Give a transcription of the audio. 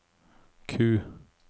Q